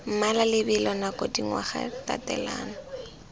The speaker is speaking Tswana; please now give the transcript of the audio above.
mmala lebelo nako dingwaga tatelano